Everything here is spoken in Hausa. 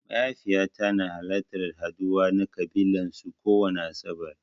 Mahaifiƴata na halartan haɗuwa na ƙabilan su kowani asaɓar.